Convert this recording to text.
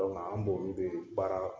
Donku anw b'olu de bɛ baara.